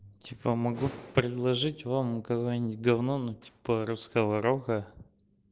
типа могу предложить вам какое-нибудь говно ну типа русского рока